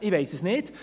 Ich weiss es nicht.